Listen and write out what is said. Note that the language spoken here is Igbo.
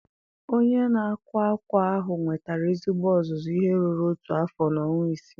Onye na-akwa akwa ahụ nwetara ezigbo ọzụzụ ihe ruru otu afọ na ọnwa isii.